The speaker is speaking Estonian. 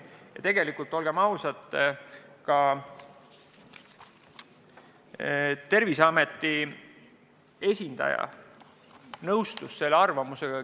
Ja tegelikult, olgem ausad, Terviseameti esindaja nõustus selle arvamusega.